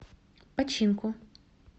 починку